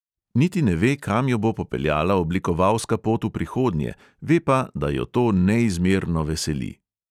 Niti ne ve, kam jo bo popeljala oblikovalska pot v prihodnje, ve pa, da jo to neizmerno veseli.